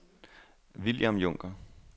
William Junker